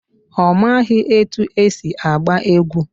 Ọ maghị etu esi agba egwu.